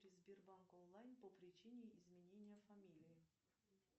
сбербанк онлайн по причине изменения фамилии